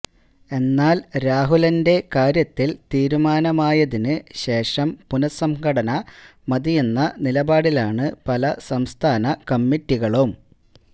എന്നാല് രാഹുലന്റെ കാര്യത്തില് തീരുമാനമായതിന് ശേഷം പുനസംഘടന മതിയെന്ന നിലപാടിലാണ് പല സംസ്ഥാന കമ്മിറ്റികളും